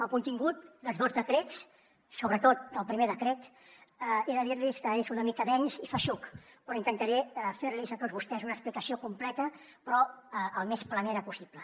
el contingut dels dos decrets sobretot del primer decret he de dir los que és una mica dens i feixuc però intentaré fer los a tots vostès una explicació completa però el més planera possible